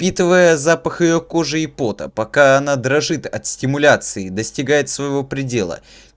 впитывая запах её кожи и пота пока она дрожит от стимуляции достигает своего предела